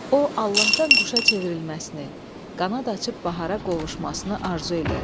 O Allahdan quşa çevrilməsini, qanad açıb Bahara qovuşmasını arzu eləyir.